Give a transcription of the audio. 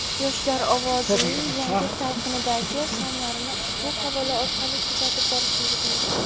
"Yoshlar ovozi"ning yangi talqindagi sonlarini ushbu havola orqali kuzatib borishingiz mumkin.